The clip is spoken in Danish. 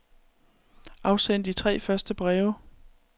Afsend de tre første breve.